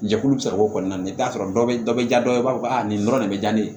Jɛkulu bɛ sɔrɔ o kɔnɔna na i bɛ t'a sɔrɔ dɔ bɛ dɔ bɛ ja dɔw b'a fɔ a nin dɔrɔn de bɛ diya ne ye